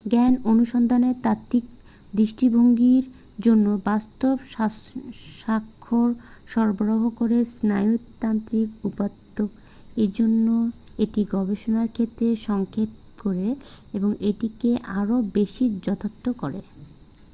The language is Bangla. জ্ঞান অনুসন্ধানের তাত্ত্বিক দৃষ্টিভংগীর জন্য বাস্তব স্বাক্ষ্য সরবরাহ করে স্নায়ুতাত্ত্বিক উপাত্ত এজন্য এটি গবেষণার ক্ষেত্র সংক্ষেপ করে এবং এটিকে আরো বেশী যথার্থ করে